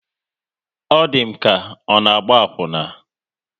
Ọ di m ka ọ na-agba akwuna